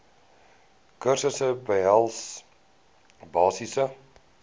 kursusse behels basiese